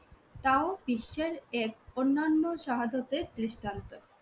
তাও বিশ্বের এক অন্যান্য শাহাদতের দৃষ্টান্ত